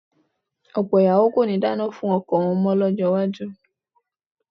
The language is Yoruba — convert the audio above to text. Ọ̀pọ̀ ìyàwó kò ní dáná mọ́ fún ọkọ wọn lọ́jọ́ iwájú